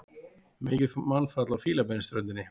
Mikið mannfall á Fílabeinsströndinni